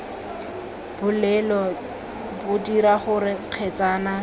bolelo bo dira gore kgetsana